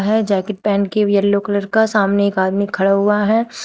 है जैकेट पहन के येलो कलर का सामने एक आदमी खड़ा हुआ है।